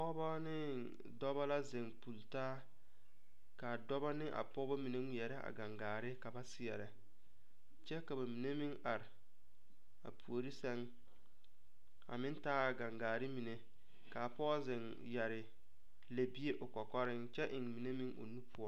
Pɔgeba ne dɔba la zeŋ pulle taa ka a dɔba ane a pɔgeba mine ŋmeɛrɛ a gaŋgaare ka ba seɛrɛ kyɛ ka ba mine meŋ are a puori sɛŋ a meŋ taa a gaŋgaare mine ka pɔge zeŋ yɛre lɛbie o kɔkɔreŋ kyɛ eŋ mine meŋ o nu poɔ.